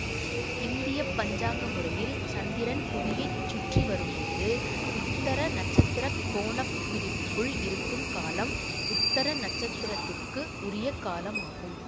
இந்திய பஞ்சாங்க முறையில் சந்திரன் புவியைச் சுற்றி வரும்போது உத்தர நட்சத்திர கோண பிரிவுக்குள் இருக்கும் காலம் உத்தர நட்சத்திரத்துக்கு உரிய காலம் ஆகும்